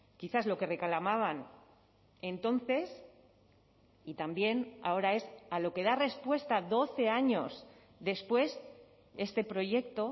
quizás lo que reclamaban entonces y también ahora es a lo que da respuesta doce años después este proyecto